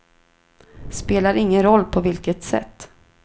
Spelar ingen roll på vilket sätt.